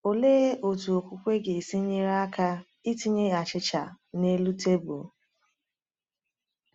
Olee otú okwukwe ga-esi nyere aka itinye achịcha n’elu tebụl?